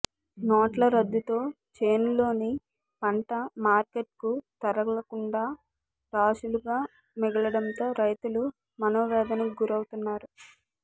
నోట్ల రద్దుతో చేనులోని పంట మార్కెట్కు తరలకుండా రాశులుగా మిగలడంతో రైతులు మనోవేదనకు గురవు తున్నారు